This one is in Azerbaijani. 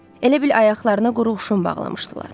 Elə bil ayaqlarına qurğuşun bağlamışdılar.